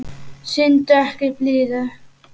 Sýndu ekki blíðu.